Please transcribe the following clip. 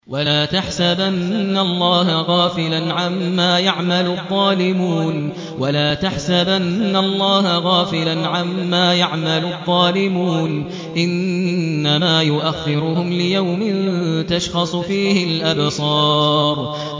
وَلَا تَحْسَبَنَّ اللَّهَ غَافِلًا عَمَّا يَعْمَلُ الظَّالِمُونَ ۚ إِنَّمَا يُؤَخِّرُهُمْ لِيَوْمٍ تَشْخَصُ فِيهِ الْأَبْصَارُ